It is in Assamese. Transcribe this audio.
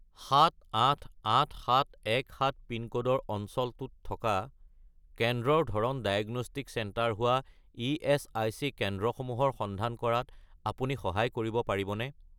788717 পিনক'ডৰ অঞ্চলটোত থকা কেন্দ্ৰৰ ধৰণ ডায়েগনষ্টিক চেণ্টাৰ হোৱা ইএচআইচি কেন্দ্ৰসমূহৰ সন্ধান কৰাত আপুনি সহায় কৰিব পাৰিবনে?